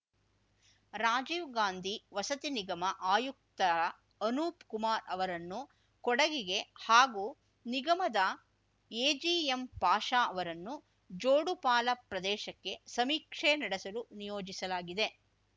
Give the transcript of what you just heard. ರಾಜೀವ್‌ ಗಾಂಧಿ ವಸತಿ ನಿಗಮ ಆಯುಕ್ತ ಅನೂಪ್‌ ಕುಮಾರ್ ಅವರನ್ನು ಕೊಡಗಿಗೆ ಹಾಗೂ ನಿಗಮದ ಎಜಿಎಂ ಪಾಷ ಅವರನ್ನು ಜೋಡುಪಾಲ ಪ್ರದೇಶಕ್ಕೆ ಸಮೀಕ್ಷೆ ನಡೆಸಲು ನಿಯೋಜಿಸಲಾಗಿದೆ